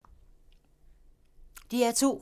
DR2